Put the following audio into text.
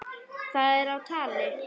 Það er á tali.